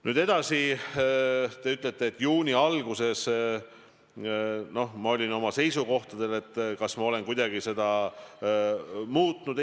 Nüüd edasi, te räägite juuni algusest, et ma olin oma seisukohtadel, ja küsite, kas ma olen kuidagi neid muutnud.